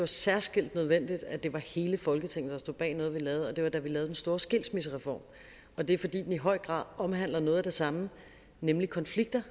særskilt nødvendigt at det var hele folketinget der stod bag noget vi lavede og det var da vi lavede den store skilsmissereform og det er fordi den i høj grad omhandler noget af det samme nemlig konflikter